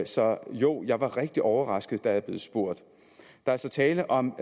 så jo jeg var rigtig overrasket da jeg blev spurgt der er så tale om